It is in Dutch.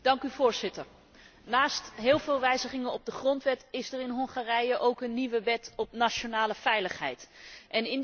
Voorzitter, naast tal van wijzigingen op de grondwet is er in Hongarije ook een nieuwe wet op de nationale veiligheid aangenomen.